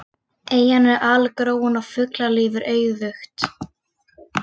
Eyjan er algróin og fuglalíf er auðugt.